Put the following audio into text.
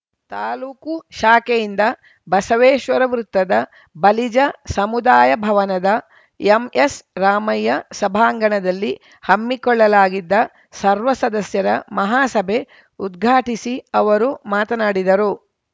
ತಾಲೂಕು ಶಾಖೆಯಿಂದ ಬಸವೇಶ್ವರ ವೃತ್ತದ ಬಲಿಜ ಸಮುದಾಯ ಭವನದ ಎಂಎಸ್‌ ರಾಮಯ್ಯ ಸಭಾಂಗಣದಲ್ಲಿ ಹಮ್ಮಿಕೊಳ್ಳಲಾಗಿದ್ದ ಸರ್ವ ಸದಸ್ಯರ ಮಹಾಸಭೆ ಉದ್ಘಾಟಿಸಿ ಅವರು ಮಾತನಾಡಿದರು